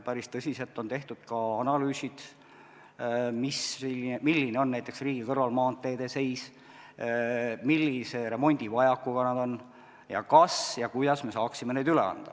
Päris tõsiselt on tehtud analüüsid, milline on riigi kõrvalmaanteede seis, millise remondivajakuga nad on ning kas ja kuidas me saaksime neid üle anda.